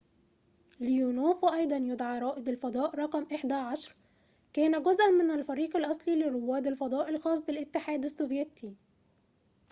ليونوف وأيضاً يدعى رائد الفضاء رقم 11 كان جزءاً من الفريق الأصلي لرواد الفضاء الخاص بالاتحاد السوفييتي